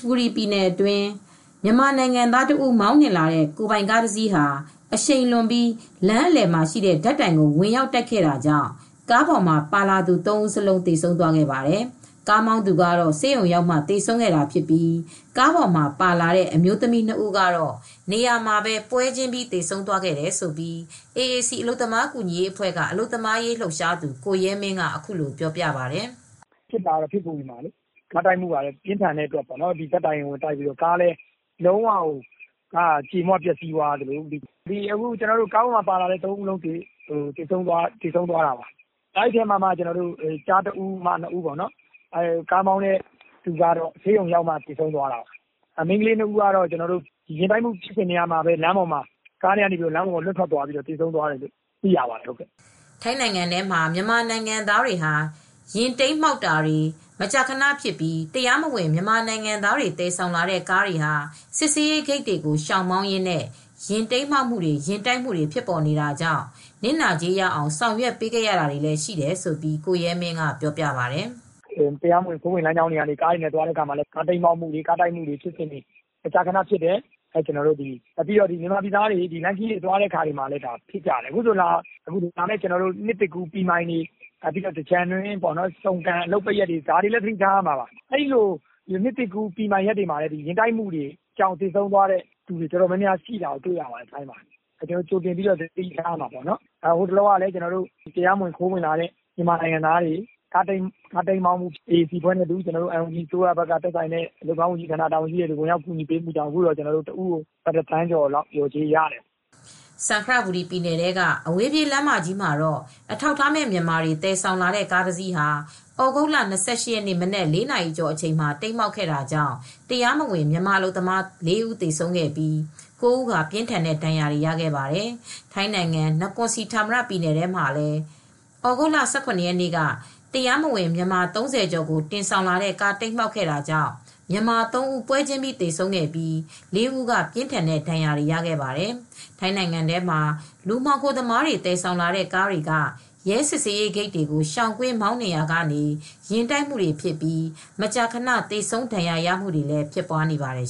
ဘူရီပြည်နယ်အတွင်း မြန်မာနိုင်ငံသားမောင်းနှင်လာတဲ့ ကိုယ်ပိုင်ကားတစ်စီးဟာ အရှိန်လွန်ပြီး လမ်းအလည်မှာရှိတဲ့ဓါတ်တိုင်ကိုဝင်ရောက်တိုက်ခဲ့တာကြောင့် ကားပေါ်မှာပါလာသူ၃ဦးစလုံးသေဆုံးသွားခဲ့ပါတယ် ၊ကားမောင်းသူကတော့ဆေးရုံရောက်မှသေဆုံးသွားတာဖြစ်ပြီး ကားပေါ်မှာပါလာတဲ့ အမျိုးသမီး၂ဦးကတော့ နေရာမှာပဲပွဲချင်းပြီးသေဆုံးသွားခဲ့တယ်လို့ AAC အလုပ်သမားကူညီရေးအဖွဲ့က အလုပ်သမားရေးလှုပ်ရှားသူကိုရဲမင်းကအခုလိုပြောပါတယ်။ " ဖြစ်တာကတော့ဖစ်ဘူရီမှာပါ။ ကားတိုက်မှု ကပြင်းထန်တဲ့အတွက် ဓါတ်တိုင်ကိုဝင်တိုက်တဲ့အတွက် ကားလည်းလုံး၀ ကြေမွပျက်စီးသွားသလို ကားပေါ်မှာပါလာတဲ့သုံးဦးစလုံးလည်းသေဆုံးသွားတာပါ။ အဲဒီထဲမှာယောက်ကျားတဦ၊း အမျိုးသမီးနှစ်ဦးပါပြီး ကားမောင်းတဲ့သူကတော့ဆေးရုံ အရောက်မှာသေဆုံးသွားတာပါ၊မိန်းကလေးနှစ်ဦးကတော့ယာဉ်တိုက်မှု ဖြစ်ပြီးချိန်ကတည်းက ကားပေါ်ကနေ လွှင့်ထွက်ပြီးသေဆုံးသွားတယ်လို့သိရပါတယ်" ထိုင်းနိုင်ငံထဲမှာ မြန်မာနိုင်ငံသားတွေ ယဉ်တိမ်းမှောက်တာတွေ မကြာခနဖြစ်ပြီး တရားမဝင်မြန်မာနိုင်ငံသားတွေသယ်ဆောင်လာတဲ့ကားတွေကစစ်ဆေးရေးဂိတ်တွေကိုရှောင်မောင်းရင်း ယာဉ်တိမ်းမှောက်မှုတွေ၊ ယာဉ်တိုက်မှုတွေဖြစ်ပေါ်နေတာကြောင့် နစ်နာကြေးရအောင်ဆောင်ရွက်ပေးရတာတွေလည်းရှိတယ်လို့ကိုရဲမင်းကပြောပါတယ်။ " တရားမဝင်ခိုးဝင်လမ်းကြောင်းတွေကနေသွားရင်လည်း ကားတိမ်းမှောက်မှုတွေ၊ ကားတိုက်မှုတွေ မကြာခနဖြစ်တယ်။ မြန်မာပြည်သားတွေလမ်းခရီးတွေသွားရင်လည်း ဖြစ်ကြတယ်။ အခုဆိုရင် နှစ်သစ်ကူး ပီမိုင်လို့ခေါ်တဲ့အချိန်မှာလည်း သင်္ကြန်တို့ လိုပိတ်ရက်တွေမှာလည်း သတိထားရမှာပါ။ ဟိုလောကတရားမဝင်မြန်မာနိုင်ငံသားတွေ ကားတိမ်းမှောက်မှုဖြစ်ပြီး သေဆုံးတာတွေရှိတဲ့အတွက် ကျနော်တို့AAC အဖွဲ့ နဲ့ NUG အလုပ်သမားဝန်ကြီးဌာနတို့ပူးပေါင်းလုပ်ဆောင်ပေးတာ တဦးကိုဘတ်တသန်းကျော်လောက်လျှော်ကြေးတွေရကြပါတယ်" စံခရဘူရီ ပြည်နယ်ထဲက အဝေးပြေးလမ်းမကြီးမှာအထောက်အထားမဲ့မြန်မာတွေသယ်ဆောင်လာတဲ့ကားတစီး ဟာသြဂုတ်လ၂၈ ရက်နေ့ ၊ မနက်၄နာရီကျော်အချိန်မှာ တိမ်းမှောက်ခဲ့တာကြောင့် တရားမဝင်မြန်မာအလုပ်သမား၄ဦးသေဆုံးပြီး ၉ဦးပြင်းထန်တဲ့ဒဏ်ရာရခဲ့ပါတယ်။ ထိုင်းနိုင်ငံ နကွန်စီဌာမရတ်ပြည်နယ်ထဲမှာလည်း သြဂုတ်လ ၁၇ရက်နေ့က တရားမဝင်မြန်မာ ၃၀ကျော်ကိုတင်လာတဲ့ကားတိမ်းမှောက်ခဲ့ တာကြောင့် မြန်မာ ၃ဦးပွဲချင်းပြီးသေဆုံးပြီး ၄ဦးက ပြင်းထန်တဲ့ဒဏ်ရာတွေရခဲ့ပါတယ်။ ထိုင်းနိုင်ငံထဲမှာ လူမှောင်ခိုသမားတွေသယ်ဆောင်လာတဲ့ကားတွေက ရဲစစ်ဆေးရေးဂိတ်တွေကိုရှောင်ကွင်းမောင်းနှင်ရာကနေ ယာဉ်တိုက်မူတွေဖြစ်ပြီး မကြာခန သေဆုံးဒဏ်ရာရမူတွေလည်းဖြစ်ပွားနေပါတယ်